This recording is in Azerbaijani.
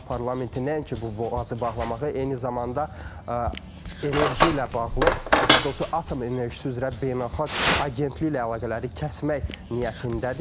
İran parlamenti nəinki bu boğazı bağlamağa, eyni zamanda enerji ilə bağlı, daha doğrusu atom enerjisi üzrə beynəlxalq agentliklə əlaqələri kəsmək niyyətindədir.